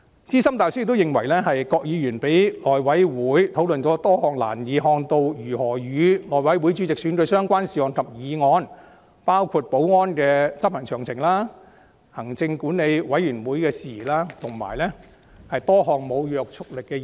資深大律師亦認為，"郭議員讓內會委員討論了多項難以看到如何與內會主席選舉相關的事項及議案，包括立法會大樓保安的安排及執行詳情、立法會行政管理委員會管轄的事宜，以及多項無約束力的議案。